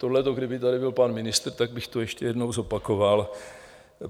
Tohleto, kdyby tady byl pan ministr, tak bych to ještě jednou zopakoval.